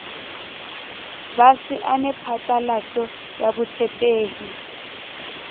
ba saene phatlalatso ya botshepehi